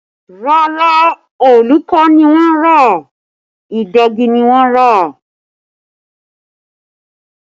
Rárá, òòlù kọ́ ni wọ́n rà, ìdegi ni wọ́n rà